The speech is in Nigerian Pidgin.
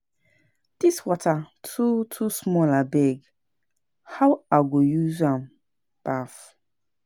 Dis water too too small abeg, how I go use am baff?